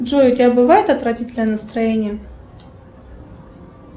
джой у тебя бывает отвратительное настроение